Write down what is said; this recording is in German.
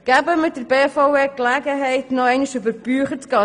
Geben wir der BVE die Gelegenheit, nochmals über die Bücher zu gehen.